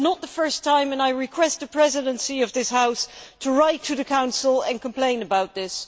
It is not the first time and I request the Presidency of this House to write to the Council and complain about this.